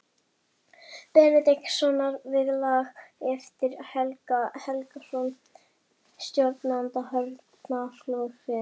Benediktssonar við lag eftir Helga Helgason, stjórnanda hornaflokksins.